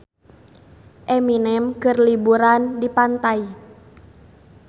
Eminem keur liburan di pantai